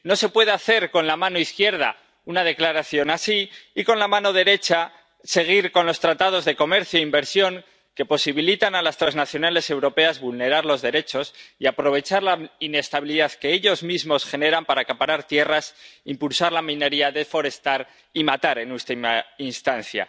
No se puede hacer con la mano izquierda una declaración así y con la mano derecha seguir con los tratados de comercio e inversión que posibilitan a las transnacionales europeas vulnerar los derechos y aprovechar la inestabilidad que ellas mismas generan para acaparar tierras, impulsar la minería, deforestar y matar, en última instancia.